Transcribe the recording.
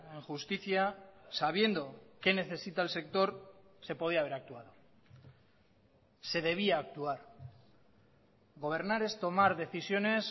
en justicia sabiendo qué necesita el sector se podía haber actuado se debía actuar gobernar es tomar decisiones